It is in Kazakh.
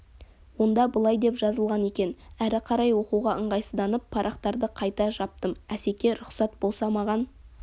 онда былай деп жазылған екен әрі қарай оқуға ыңғайсызданып парақтарды қайта жаптым асеке рұқсат болса маған